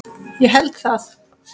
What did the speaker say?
Ég held það